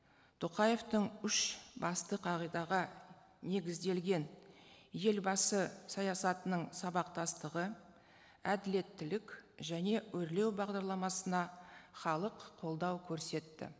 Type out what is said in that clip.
тоқаевтың үш басты қағидаға негізделген елбасы саясатының сабақтастығы әділеттілік және өрлеу бағдарламасына халық қолдау көрсетті